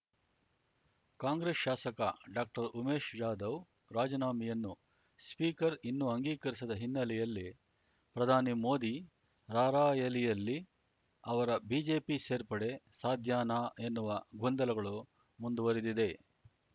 ಕಾಂಗ್ರೆಸ್‌ ಶಾಸಕ ಡಾಕ್ಟರ್ಉಮೇಶ್‌ ಜಾಧವ್‌ ರಾಜಿನಾಮೆಯನ್ನು ಸ್ಪೀಕರ್ ಇನ್ನೂ ಅಂಗೀಕರಿಸದ ಹಿನ್ನೆಲೆಯಲ್ಲಿ ಪ್ರಧಾನಿ ಮೋದಿ ರಾರ‍ಯಲಿಯಲ್ಲಿ ಅವರ ಬಿಜೆಪಿ ಸೇರ್ಪಡೆ ಸಾಧ್ಯನಾ ಎನ್ನುವ ಗೊಂದಲಗಳು ಮುಂದುವರಿದಿದೆ